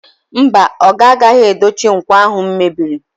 Mba, oga agaghị edochi nkwọ ahụ mebiri.